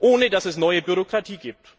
ohne dass es neue Bürokratie gibt.